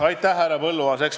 Aitäh, härra Põlluaas!